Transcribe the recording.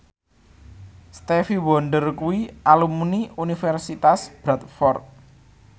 Stevie Wonder kuwi alumni Universitas Bradford